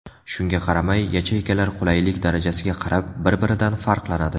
Shunga qaramay, yacheykalar qulaylik darajasiga qarab, bir-biridan farqlanadi.